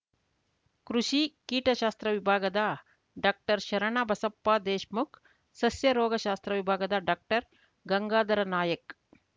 ಕೃಷಿ ಕೀಟಶಾಸ್ತ್ರ ವವಿಭಾಗದ ಡಾಕ್ಟರ್ಶರಣಬಸಪ್ಪದೇಶ್‌ಮುಖ್‌ ಸಸ್ಯ ರೋಗಶಾಸ್ತ್ರ ವಿಭಾಗದ ಡಾಕ್ಟರ್ಗಂಗಾಧರ್‌ ನಾಯಕ್